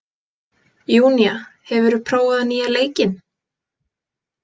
Júnía, hefur þú prófað nýja leikinn?